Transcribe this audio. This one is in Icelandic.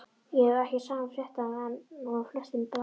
Ég hef ekki sama fréttamat og flestir blaðamenn.